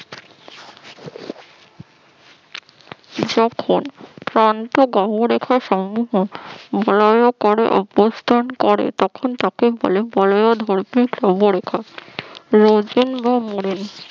যখন ক্লান্ত ধর্মরেখা সম্মোহন অভ্যস্তান করে তখন তাকে বলে